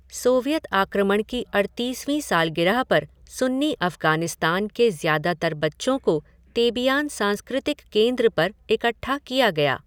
Soviet आक्रमण की अड़तीसवीं सालगिरह पर सुन्नी अफ़गानिस्तान के ज़्यादातर बच्चों को तेबियान सांस्कृतिक केंद्र पर इकट्ठा किया गया।